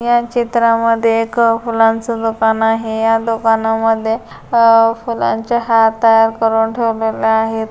या चित्रा मधे एक फूलानच दुकान आहे या दुकाना मधे फूलानचे हार तयार करून ठेवलेले आहेत.